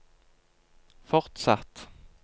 fortsatt